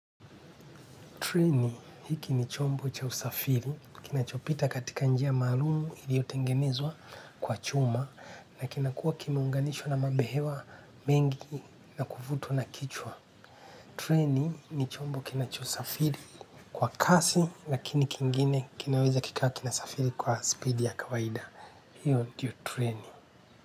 Treni hiki ni chombo cha usafiri, kinachopita katika njia maalum iliotengenezwa kwa chuma na kinakuwa kimeunganishwa na mabehewa mengi na kuvutwa na kichwa. Treni ni chombo kinachosafiri kwa kasi lakini kingine kinaweza kikawa kinasafiri kwa speed ya kawaida. Hiyo ndiyo treni.